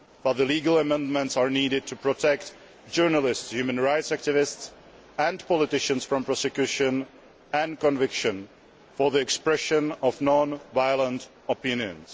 Further legal amendments are needed to protect journalists, human rights activists and politicians from prosecution and conviction for the expression of non violent opinion.